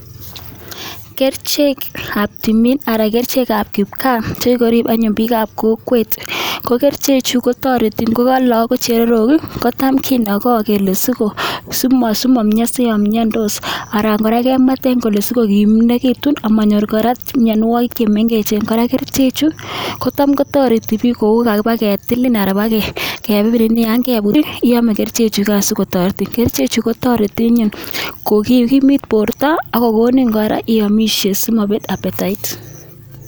Kerichek kab tumin anan kerichekab kipkaa chekirib anyuun bikab kokwet kokerichek chu kotareti ngoka chererok ih, kele simamianso anan kora kemueten sikokimegitu amanyor kora miannuagik chemengech kora kerichek chu kotam kotareti bik koukabaketil anan Yoon kebut iame kerichek chugan sigotaretin . Kerichek chu kotareti sigokimit borta ak akiamoshe simabet appetite